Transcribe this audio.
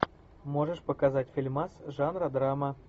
можешь показать фильмас жанра драма